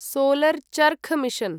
solar charkha mission